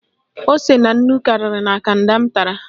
Ose na nnu karịrị na Kanda m tara